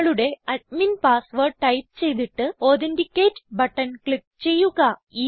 നിങ്ങളുടെ admin password type ചെയ്തിട്ട് authenticate button click ചെയ്യുക